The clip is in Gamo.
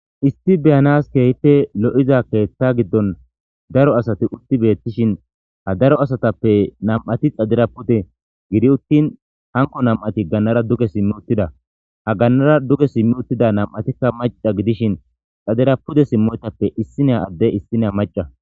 Issti beyanas keehte lo7iza keeththa giddon daro asati utti beettishin ha daro asatappe nam7ati xadira pude gidi uttin hanko nam7ati gannara duge simmi uttida ha gannara duge simmi uttida nam7atikka maca gidishin xadira pude simmoytappe issinea adde issine maca.